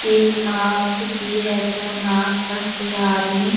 एक नाव भी है जो नाव पर कोई आदमी --